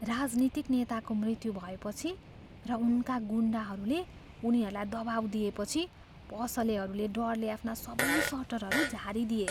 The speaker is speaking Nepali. राजनीतिक नेताको मृत्यु भएपछि र उनका गुन्डाहरूले उनीहरूलाई दबाउ दिएपछि पसलेहरूले डरले आफ्ना सबै सटरहरू झारिदिए।